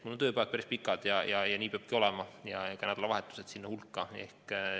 Minu tööpäevad on päris pikad ja nii peabki olema, ka nädalavahetused lähevad sinna hulka.